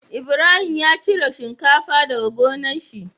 Ibrahim ya cire shinkafa daka gonar shi